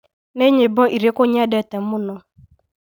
nĩ nyĩmbo irĩkũ nyendete mũno?